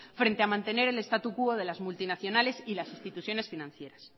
frente a mantener el status quo de las multinacionales y las instituciones financieras